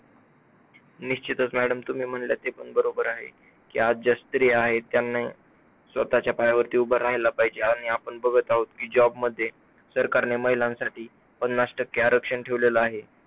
निश्चितच madam तुम्ही म्हणले त ते पण बरोबर आहे, की आज ज्या स्त्री आहेत त्यांनी स्वतःच्या पायावरती उभा राहिला पाहिजे आणि आपण बघत आहोत कि job मध्ये सरकारने महिलांसाठी पन्नास टक्के आरक्षण ठेवलेलं आहे.